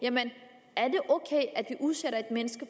at man udsætter mennesker